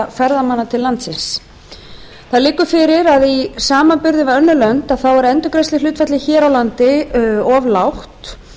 ferðamanna til landsins það liggur fyrir að í samanburði við önnur lönd er endurgreiðsluhlutfallið hér á landi of lágt